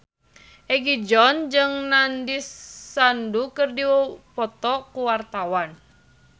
Egi John jeung Nandish Sandhu keur dipoto ku wartawan